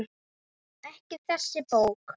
Ekki þessi bók.